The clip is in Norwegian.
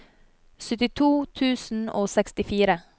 syttito tusen og sekstifire